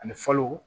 Ani falo